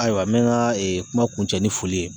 Ayiwa n bɛ n ka kuma kuncɛ ni foli ye